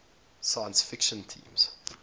science fiction themes